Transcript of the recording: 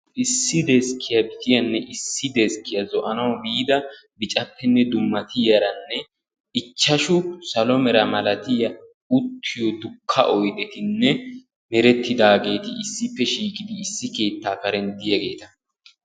Issi deskkiyaa biciyanne issi deskkiya zo"anawu biida bicappene dummatiyaaranne ichchashu salo mera malatiya uttiyo dukka oydetinne merettidaageti issippe shiiqidi issi keetta karen diyageta.